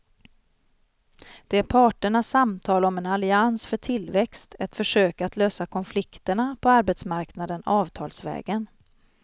Det är parternas samtal om en allians för tillväxt, ett försök att lösa konflikterna på arbetsmarknaden avtalsvägen.